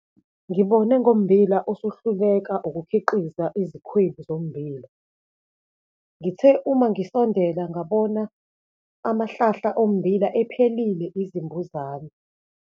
Ngibone ngommbila osuhluleka ukukhiqiza izikhwebu zombili. Ngithe uma ngisondela ngabona amahlahla ommbila ephelile izimbuzane.